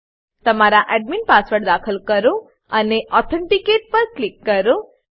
તમારો admin admin password દાખલ કરો અને ઓથેન્ટિકેટ પર ક્લિક કરો